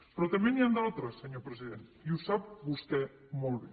però també n’hi han d’altres senyor president i ho sap vostè molt bé